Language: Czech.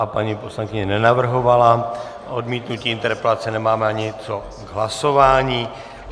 A paní poslankyně nenavrhovala odmítnutí interpelace, nemáme ani co k hlasování.